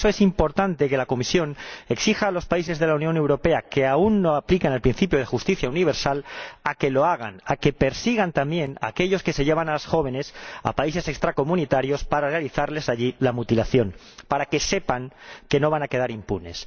Por eso, es importante que la Comisión exija a los países de la Unión Europea que aún no aplican el principio de justicia universal que lo hagan, y que persigan también a aquellos que se llevan a las jóvenes a países extracomunitarios para realizarles allí la mutilación, para que estos sepan que no van a quedar impunes.